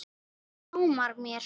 Nú dámar mér!